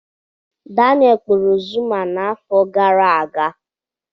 Daneelụ kpụrụ Zuma n'afọ gara aga.